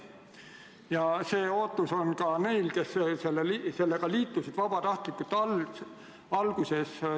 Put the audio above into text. Ja see ootus on ka neil, kes sellega vabatahtlikult liitusid.